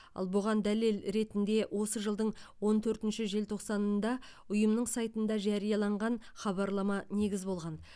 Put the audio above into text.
ал бұған дәлел ретінде осы жылдың он төртінші желтоқсанында ұйымның сайтында жарияланған хабарлама негіз болған